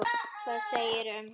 Hvað segirðu um hann, Edda?